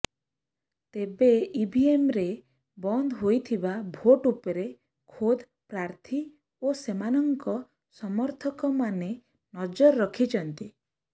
ତେବେ ଇଭିଏମ୍ରେ ବନ୍ଦ ହୋଇଥିବା ଭୋଟ ଉପରେ ଖୋଦ୍ ପ୍ରାର୍ଥୀ ଓ ସେମାନଙ୍କ ସମର୍ଥକମାନେ ନଜର ରଖିଛନ୍ତି